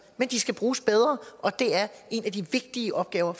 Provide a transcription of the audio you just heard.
men de skal bruges bedre og det er en af de vigtige opgaver